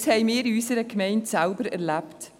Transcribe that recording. Dies haben wir in unserer Gemeinde selber erlebt: